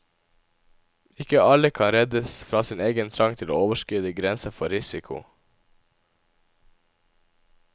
Ikke alle kan reddes fra sin egen trang til å overskride grenser for risiko.